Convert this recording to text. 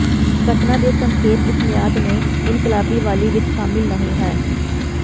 ਘਟਨਾ ਦੇ ਸੰਖੇਪ ਇਸ ਮਿਆਦ ਦੇ ਇਨਕਲਾਬੀ ਵਾਲੀ ਵਿੱਚ ਸ਼ਾਮਲ ਨਹੀ ਹੈ